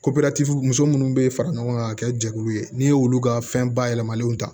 muso munnu be fara ɲɔgɔn kan ka kɛ jɛkulu ye n'i y'olu ka fɛn bayɛlɛmalenw ta